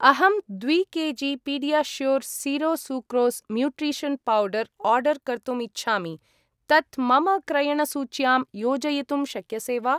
अहं द्वि KG. PediaSure zero sucrose nutrition powder order कर्तुम् इच्छामि, तत् मम क्रयणसूच्यां योजयितुं शक्यसे वा?